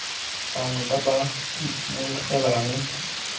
bangwe ba ba itemogelang dikgoreletsi